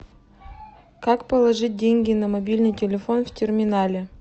как положить деньги на мобильный телефон в терминале